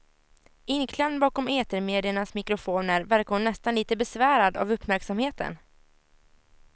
Inklämd bakom etermediernas mikrofoner verkar hon nästan lite besvärad av uppmärksamheten.